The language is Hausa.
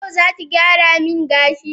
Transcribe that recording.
yau zaki gyara min gashi?